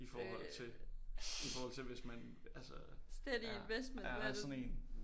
I forhold til i forhold til hvis man altså er er sådan én